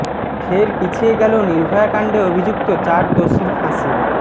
ফের পিছিয়ে গেল নির্ভয়া কাণ্ডে অভিযুক্ত চার দোষীর ফাঁসি